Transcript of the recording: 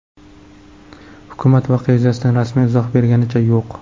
Hukumat voqea yuzasidan rasmiy izoh berganicha yo‘q.